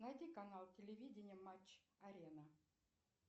найди канал телевидение матч арена